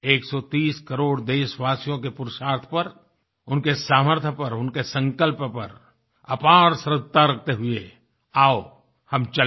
130 करोड़ देशवासियों के पुरुषार्थ पर उनके सामर्थ्य पर उनके संकल्प पर अपार श्रद्धा रखते हुए आओ हम चल पड़ें